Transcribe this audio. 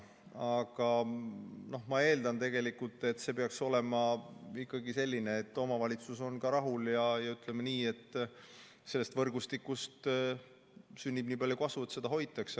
Aga ma eeldan, et see peaks olema ikkagi selline, et omavalitsus on ka rahul ja et sellest võrgustikust sünnib nii palju kasu, et seda hoitakse.